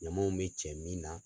Ɲamanw bɛ cɛ min na.